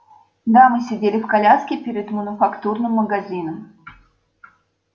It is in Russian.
дамы сидели в коляске перед мануфактурным магазином